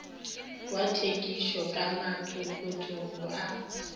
wa thekišo ka mašokotšo a